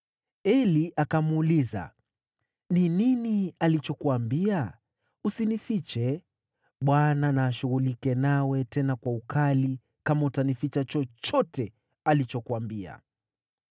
Eli akamuuliza, “Ni nini alichokuambia? Usinifiche. Bwana na ashughulike nawe, tena kwa ukali, kama utanificha chochote alichokuambia.”